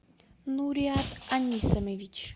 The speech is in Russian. нуриат анисимович